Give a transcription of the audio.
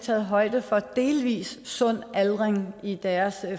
taget højde for delvis sund aldring i deres